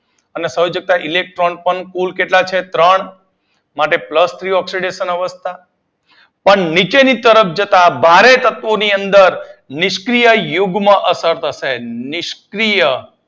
અને સંયોજકતા ઇલેક્ટ્રોન પણ કુલ કેટલા છે માટે પ્લસ ત્રણ ઓક્સીડેશન અવસ્થા. પણ નીચેની તરફ જતાં ભારે તત્વોની અંદર નિષ્ક્રીય યુગ્મ અસર થશે નિષ્ક્રીય